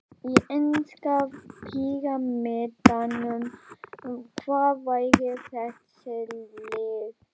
Í enska píramídanum, hvar væru þessi lið?